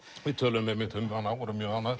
við töluðum um hana og vorum mjög ánægð